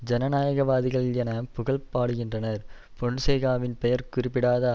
ஜனநாயகவாதிகள் என புகழ் பாடுகின்றார் பொன்சேகாவின் பெயர் குறிப்பிட படாத